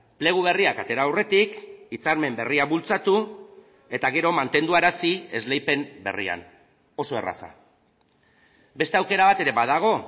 plegu berriak atera aurretik hitzarmen berria bultzatu eta gero mantenduarazi esleipen berrian oso erraza beste aukera bat ere badago